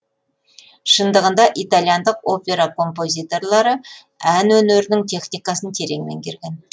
шындығында итальяндық опера композиторлары ән өнерінің техникасын терең меңгерген